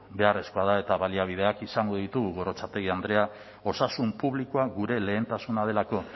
beharrezkoa da eta baliabideak izango ditugu gorrotxategi andrea osasun publikoan gure lehentasuna delako